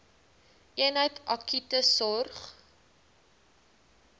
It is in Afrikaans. eenheid akute sorg